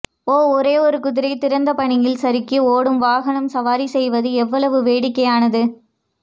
ஓ ஒரு குதிரை திறந்த பனியில் சறுக்கி ஓடும் வாகனம் சவாரி செய்வது எவ்வளவு வேடிக்கையானது